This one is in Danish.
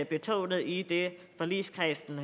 betonet i det forligskredsen